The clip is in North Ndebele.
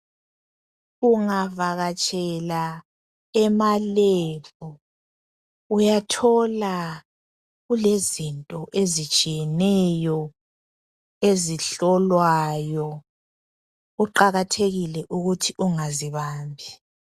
Ungavakatshela emalab uyathola kulezinto ezitshiyeneyo ezihlolwayo .Kuqakathekile ukuthi ungazibambi.